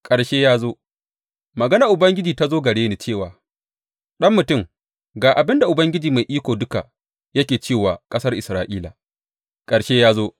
Ƙarshe ya zo Maganar Ubangiji ta zo gare ni cewa, Ɗan mutum, ga abin da Ubangiji Mai Iko Duka yake cewa wa ƙasar Isra’ila, Ƙarshe ya zo!